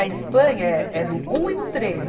A Espanha é, é no um e no três.